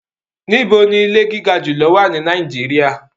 Níbò ní ìlẹ̀ gigà júlọ̀ wà ní Nàìjíríà?